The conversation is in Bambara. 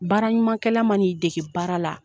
Baara ɲumankɛla ma n'i dege baara la